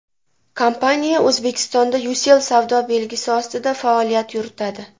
Kompaniya O‘zbekistonda Ucell savdo belgisi ostida faoliyat yuritadi.